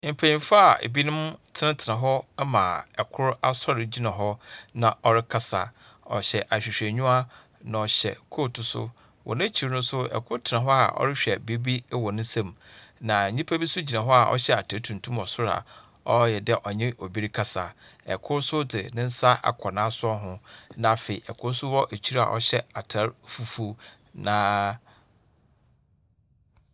Mpenyin fo a ebi tsenatsena hɔ ama kor asor gyina hɔ na ɔrekasa. Ɔhyɛ ahwehwɛnyiwa, na ɔhyɛ coat nso. Wɔ n'ekyir no nso kor tsena hɔ a ɔrehwɛ biribi wɔ ne nsamu. Nanyimpa bi nso gyina hɔ a ɔhyɛ atar tuntum wɔ sor a ɔayɛ dɛ ɔnye obi rekasa. Kor nso dze ne nsa akɔ n'asowa ho, na afei kor gyina hɔ hyɛ atar fufuw, na .